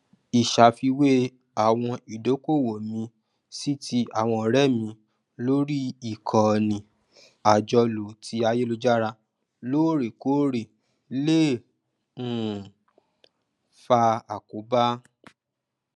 ìṣàfiwé àwọn ìdókòwò mi sí ti àwọn ọrẹ mi lórí ìkànnì àjọlò ti ayélujára lóòrèkóòrè lè um fa àkóbá